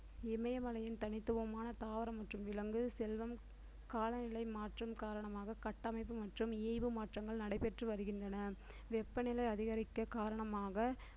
இமயமலையின் தனித்துவமான தாவரம் மற்றும் விலங்கு செல்வம் காலநிலை மாற்றம் காரணமாக கட்டமைப்பு மற்றும் மாற்றங்கள் நடைபெற்று வருகின்றன வெப்பநிலை அதிகரிக்க காரணமாக